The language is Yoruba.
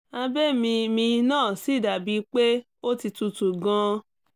abẹ́ mi mi náà sì dà bíi pé ó ti tútù gan-an